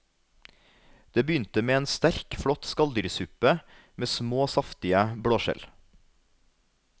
Det begynte med en sterk, flott skalldyrsuppe med små, saftige blåskjell.